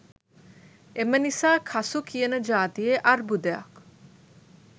එමනිසා කසු කියන ජාතියේ අර්බුදයක්